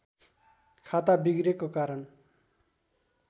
खाता बिग्रेको कारण